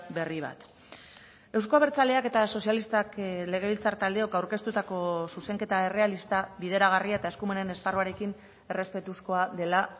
berri bat euzko abertzaleak eta sozialistak legebiltzar taldeok aurkeztutako zuzenketa errealista bideragarria eta eskumenen esparruarekin errespetuzkoa dela